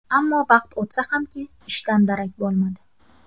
Ammo vaqt o‘tsa hamki, ishdan darak bo‘lmadi.